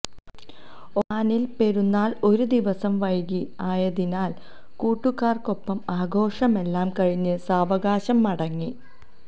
ഒമാനില് പെരുനാള് ഒരു ദിവസം വൈകി ആയതിനാല് കൂട്ടുകാര്ക്കൊപ്പം ആഘോഷമെല്ലാം കഴിഞ്ഞ് സാവകാശം മടങ്ങി